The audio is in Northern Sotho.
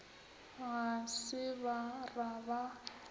ga se ba ra ba